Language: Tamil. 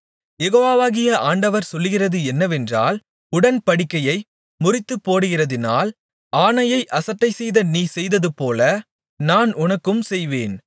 யெகோவாகிய ஆண்டவர் சொல்லுகிறது என்னவென்றால் உடன்படிக்கையை முறித்துப்போடுகிறதினால் ஆணையை அசட்டைசெய்த நீ செய்ததுபோல நான் உனக்கும் செய்வேன்